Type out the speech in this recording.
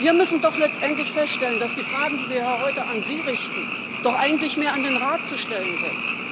Wir müssen doch letztendlich feststellen, dass die Fragen, die wir hier heute an Sie richten, doch eigentlich mehr an den Rat zu stellen sind.